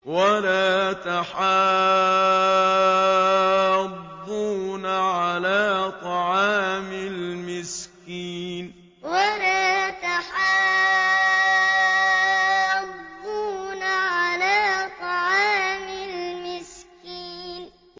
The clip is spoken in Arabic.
وَلَا تَحَاضُّونَ عَلَىٰ طَعَامِ الْمِسْكِينِ وَلَا تَحَاضُّونَ عَلَىٰ طَعَامِ الْمِسْكِينِ